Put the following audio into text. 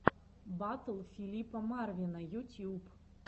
батл филипа марвина ютьюб